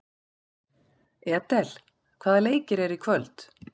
Edel, hvaða leikir eru í kvöld?